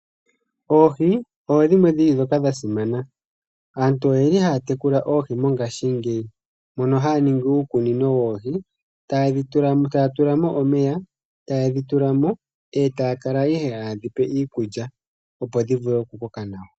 Oohi odhimwe dhili dhoka dha simana. Aantu oyendji haya tekula Oohi ngashingeyi, mono haya ningi uukunino woohi taya tula mo omeya, ta yedhi tula mo eta ya kala ihe ha yedhi pe iikuly opo dhi vule oku koka nawa.